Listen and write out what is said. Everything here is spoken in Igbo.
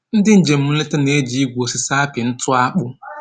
Ndị njem nleta na-eji igwu osisi apị ntụ akpụ